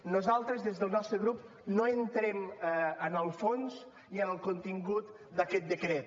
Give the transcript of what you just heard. nosaltres des del nostre grup no entrem en el fons ni en el contingut d’aquest decret